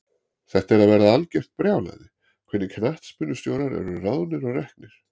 Þetta er að verða algjört brjálæði, hvernig knattspyrnustjórar eru ráðnir og reknir.